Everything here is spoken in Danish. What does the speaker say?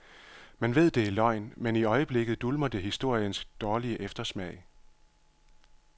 Man ved, det er løgn, men i øjeblikket dulmer det historiens dårlige eftersmag.